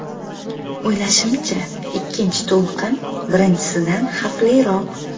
O‘ylashimcha, ikkinchi to‘lqin birinchisidan xavfliroq.